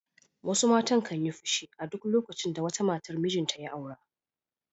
Wasu matan kan yi fushi a duk lokacin da wata matar mijinta ya aura.